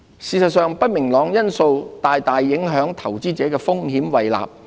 事實上，不明朗因素大大影響投資者的風險胃納。